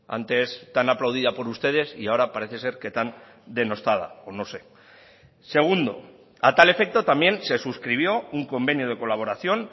antes tan aplaudida por ustedes y ahora parece ser que tan denostada o no sé segundo a tal efecto también se suscribió un convenio de colaboración